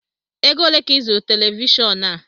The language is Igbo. Égo olé ka I zụrụ Televishọọnu a?